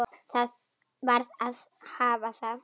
Það varð að hafa það.